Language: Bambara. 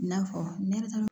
I n'a fɔ ne yɛrɛ ta